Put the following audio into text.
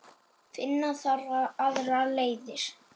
Finna þarf aðrar leiðir.